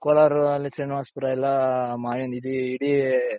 ಕೊಲಾರಲ್ಲಿ ಶ್ರೀನಿವಾಸಪುರ ಎಲ್ಲಾ ಮಾವಿನ ಇದಿ ಇಡೀ,